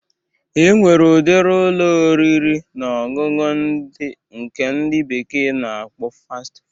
E nwere ụdiri Ụlọ oriri na ọṅụṅụ nke ndị bekee na-akpọ Fast Food.